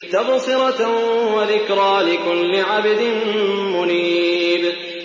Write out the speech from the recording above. تَبْصِرَةً وَذِكْرَىٰ لِكُلِّ عَبْدٍ مُّنِيبٍ